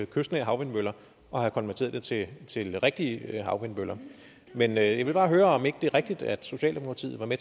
kystnære havvindmøller og have konverteret det til rigtige havvindmøller men jeg vil bare høre om ikke det er rigtigt at socialdemokratiet var med